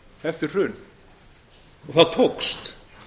eftir hrun og það tókst